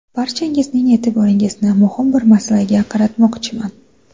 Barchangizning e’tiboringizni muhim bir masalaga qaratmoqchiman.